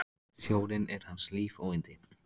Sjórinn er hans líf og yndi!